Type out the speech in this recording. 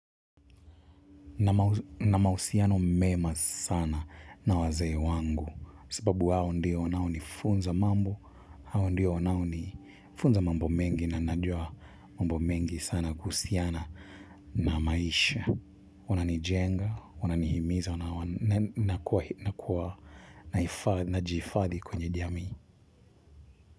Nina mahusiano mema sana na wazee wangu. Sababu hao ndiyo wanaonifunza mambo, hao ndiyo wanao nifunza mambo mengi na najua mambo mengi sana kuhusiana na maisha. Wanani jenga, wanani himiza, wanakuwa na jihifadhi kwenye jamii.